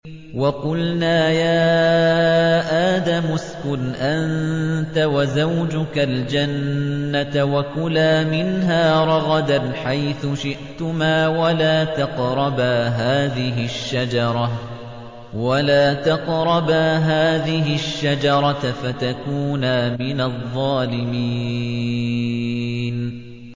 وَقُلْنَا يَا آدَمُ اسْكُنْ أَنتَ وَزَوْجُكَ الْجَنَّةَ وَكُلَا مِنْهَا رَغَدًا حَيْثُ شِئْتُمَا وَلَا تَقْرَبَا هَٰذِهِ الشَّجَرَةَ فَتَكُونَا مِنَ الظَّالِمِينَ